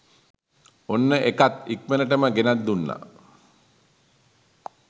ඔන්න ඒකත් ඉක්මනටම ගෙනත් දුන්නා.